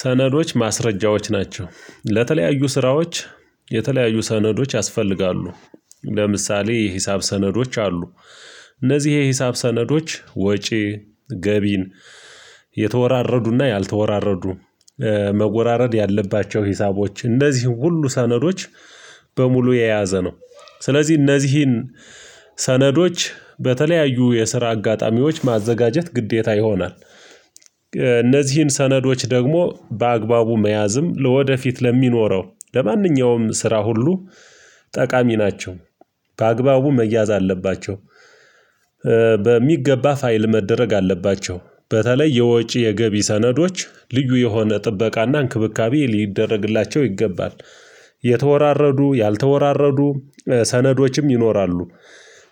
ሰነዶች ማስረጃዎች ናቸው ለተለያዩ ስራዎች የተለያዩ ሰነዶች ያስፈልጋሉ። ለምሳሌ የሂሳብ ሰነዶች አሉ። እነዚህ የሂሳብ ሰነዶች ወጪ ገቢን የተወራረዱና ያልተወራረዱ መወራረድ ያለባቸው ሂሳቦች እነዚህ ሁሉ ሰነዶች በሙሉ የያዘ ነው። ስለዚህ እነዚህን ሰነዶች በተለያዩ የስራ አጋጣሚዎች ማዘጋጀት ግዴታ ይሆናል። እነዚህን ሰነዶች ደግሞ በአግባቡ መያዝም ለወደፊት ለሚኖረው ለማንኛውም ስራ ሁሉ ጠቃሚ ናቸው። በአግባቡ መያዝ አለባቸው። በሚገባ ፋይል መደረግ አለባቸው በተለይ የወጪ የገቢ ሰነዶች ልዩ የሆነ ጥበቃና እንክብካቤ ሊደረግላቸው ይገባል። የተወራረዱ ያልተወራረዱ ሰነዶችም ይኖራሉ።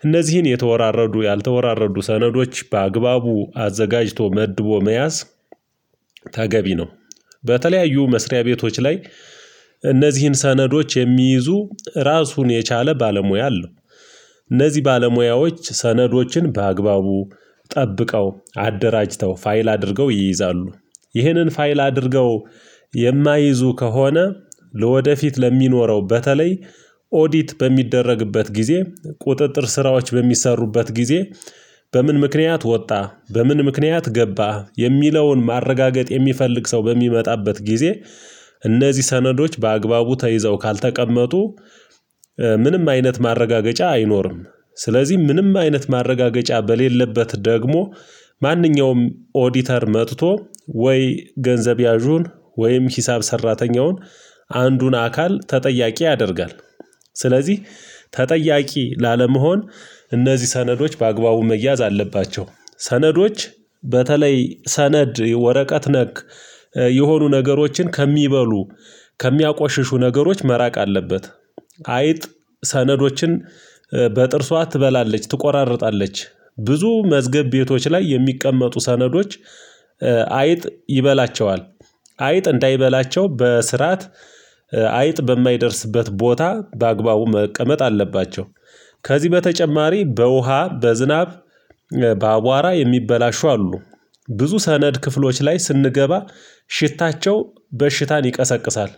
እነዚህን የተወራረዱ ያልተወራረዱ ሰነዶች በአግባቡ አዘጋጅቶ መድቦ መያዝ ተገቢ ነው። በተለያዩ መስሪያ ቤቶች ላይ እነዚህን ሰነዶች የሚይዙ ራሱን የቻለ ባለሙያ አለው። እነዚህ ባለሙያዎች ሰነዶችን በአግባቡ ጠብቀው፣ አደራጅተው፣ ፋይል አድርገው ይይዛሉ፤ ይህንን ፋይል አድርገው የማይይዙ ከሆነ ለወደፊት ለሚኖረው በተለይ ኦዲት በሚደረግበት ጊዜ ቁጥጥር ስራዎች በሚሰሩበት ጊዜ። በምን ምክንያት ወጣ በምን ምክንያት ገባ የሚለውን ማረጋገጥ የሚፈልግ ሰው በሚመጣበት ጊዜ። እነዚህ ሰነዶች በአግባቡ ተይዘው ካልተቀመጡ ምንም አይነት ማረጋገጫ አይኖርም፤ ስለዚህ ምንም አይነት ማረጋገጫ በሌለበት ደግሞ። ማንኛውም ኦዲተር መጥቶ ወይ ገንዘብ ያዡን ወይም ሂሳብ ሰራተኛውን አንዱን አካል ተጠያቂ ያደርጋል። ስለዚህ ተጠያቂ ላለመሆን እነዚህ ሰነዶች በአግባቡ መያዝ አለባቸው። ሰነዶች በተለይ ሰነድ ወረቀት ነክ የሆኑ ነገሮችን ከሚበሉ ከሚያቆሽሹ ነገሮች መራቅ አለበት። አይጥ ሰነዶችን በጥርሷ ትበላለች ትቆራርጣለች። ብዙ መዝገብ ቤቶች ላይ የሚቀመጡ ሰነዶች አይጥ ይበላቸዋል። አይጥ እንዳይበላቸው በስርዓት አይጥ በማይደርስበት ቦታ በአግባቡ መቀመጥ አለባቸው። ከዚህ በተጨማሪ በውሃ፣ በዝናብ፣ በአቧራ የሚበላሹ አሉ፤ ብዙ ሰነድ ክፍሎች ላይ ስንገባ ሽታቸው በሽታን ይቀሰቅሳል፤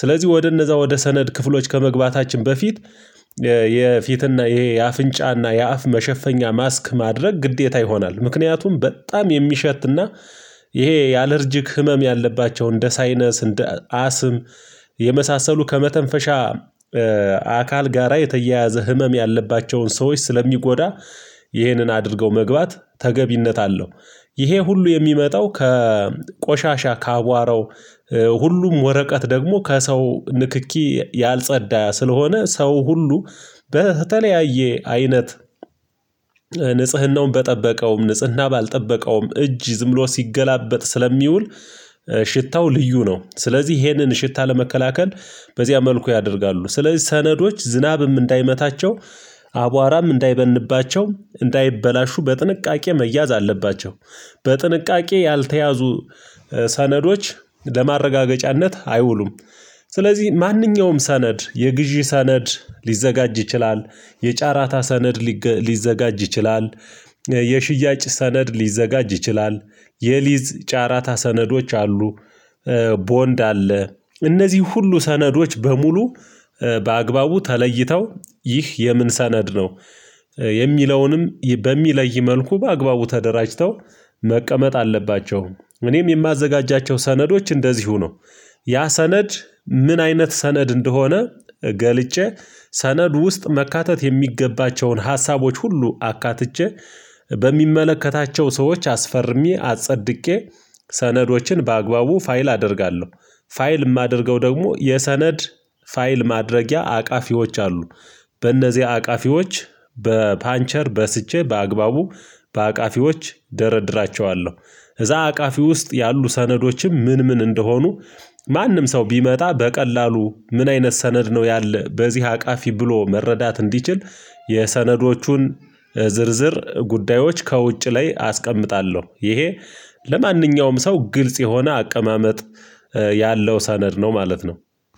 ስለዚህ ወደ እነዛ ወደ ሰነድ ክፍሎች ከመግባታችን በፊት። የፊትና ይሄ የአፍንጫና የአፍ መሸፈኛ ማስክ ማድረግ ግዴታ ይሆናል ምክንያቱም በጣም የሚሸትና ይሄ የአለርጅክ ህመም ያለባቸው እንደ ሳይነስ እንደ አስም የመሳሰሉ ከመተንፈሻ አካል ጋራ የተያያዘ ህመም ያለባቸውን ሰዎች ስለሚጎዳ ይህንን አድርገው መግባት ተገቢነት አለው። ይሄ ሁሉ የሚመጣው ከቆሻሻ ከአቧረው ሁሉም ወረቀት ደግሞ ከሰው ንክኪ ያልጸዳ ስለሆነ ሰው ሁሉ በተለያየ አይነት ንጽህናውን በጠበቀውም ንጽህና ባልጠበቀውም እጅ ዝም ሎ ሲገላበጥ ስለሚውል። ሽታው ልዩ ነው። ስለዚህ ይሄንን ሽታ ለመከላከል በዚያ መልኩ ያደርጋሉ ስለዚህ ሰነዶች ዝናብም እንዳይመታቸው አቧራም እንዳይበንባቸው እንዳይበላሹ በጥንቃቄ መያዝ አለባቸው። በጥንቃቄ ያልተያዙ ሰነዶች ለማረጋገጫነት አይውሉም። ስለዚህ ማንኛውም ሰነድ የግዢ ሰነድ ሊዘጋጅ ይችላል፤ የጫራታ ሰነድ ሊዘጋጅ ይችላል፤ የሽያጭ ሰነድ ሊዘጋጅ ይችላል፤ የሊዝ ጫራታ ሰነዶች አሉ፤ ቦንድ አለ። እነዚህ ሁሉ ሰነዶች በሙሉ በአግባቡ ተለይተው ይህ የምን ሰነድ ነው። የሚለውንም በሚለይ መልኩ በአግባቡ ተደራጅተው መቀመጥ አለባቸው እኔም የማዘጋጃቸው ሰነዶች እንደዚሁ ነው። ያ ሰነድ ምን አይነት ሰነድ እንደሆነ ገልጬ ሰነዱ ውስጥ መካተት የሚገባቸውን ሀሳቦች ሁሉ አካትቼ በሚመለከታቸው ሰዎች አስፈርሜ አጸድቄ ሰነዶችን በአግባቡ ፋይል አደርጋለሁ። ፋይል የማደርገው ደግሞ የሰነድ ፋይል ማድረጊያ አቃፊዎች አሉ፤ በእነዚህ አቃፊዎች በፓንቸር በስቼ በአግባቡ በአቃፊዎች ደረድራቸዋለሁ። እዛ አቃፊ ውስጥ ያሉ ሰነዶችም ምን ምን እንደሆኑ ማንም ሰው ቢመጣ በቀላሉ ምን አይነት ሰነድ ነው ያለ በዚህ አቃፊ ብሎ መረዳት እንዲችል። የሰነዶቹን ዝርዝር ጉዳዮች ከውጭ ላይ አስቀምጣለሁ። ይሄ ለማንኛውም ሰው ግልጽ የሆነ አቀማመጥ ያለው ሰነድ ነው ማለት ነው።